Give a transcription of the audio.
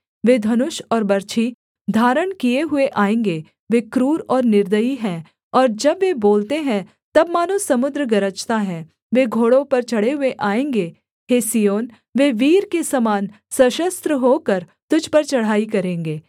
वे धनुष और बर्छी धारण किए हुए आएँगे वे क्रूर और निर्दयी हैं और जब वे बोलते हैं तब मानो समुद्र गरजता है वे घोड़ों पर चढ़े हुए आएँगे हे सिय्योन वे वीर के समान सशस्त्र होकर तुझ पर चढ़ाई करेंगे